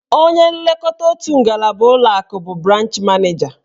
Onye nlekọta otu ngalaba ụlọakụ bụ branch maneja.